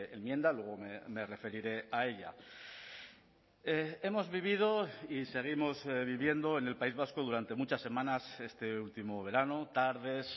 enmienda luego me referiré a ella hemos vivido y seguimos viviendo en el país vasco durante muchas semanas este último verano tardes